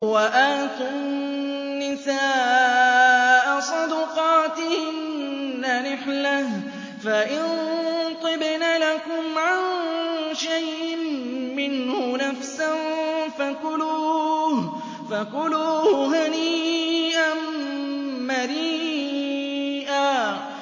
وَآتُوا النِّسَاءَ صَدُقَاتِهِنَّ نِحْلَةً ۚ فَإِن طِبْنَ لَكُمْ عَن شَيْءٍ مِّنْهُ نَفْسًا فَكُلُوهُ هَنِيئًا مَّرِيئًا